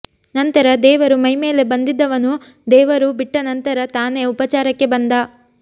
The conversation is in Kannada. ನಂತರ ದೇವರು ಮೈಮೇಲೆ ಬಂದಿದ್ದವನು ದೇವರು ಬಿಟ್ಟ ನಂತರ ತಾನೇ ಉಪಚಾರಕ್ಕೆ ಬಂದ